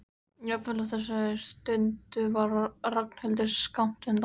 Jafnvel á þessari stundu var Ragnhildur skammt undan.